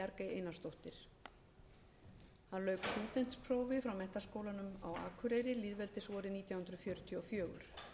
einarsdóttir hann lauk stúdentsprófi frá menntaskólanum á akureyri lýðveldisvorið nítján hundruð fjörutíu og fjögur